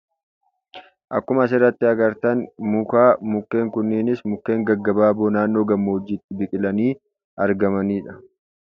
Akkuma asirratti agartan muka. Mukeen kunis mukeen gaggabaaboo maannoo gammoojjiitti biqilanii argamaniidha.